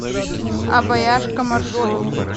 обаяшка маршрут